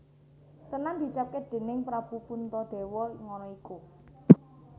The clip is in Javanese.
Tenan diucapake déning Prabu Puntadewa ngono iku